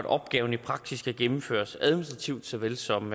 opgaven i praksis kan gennemføres administrativt såvel som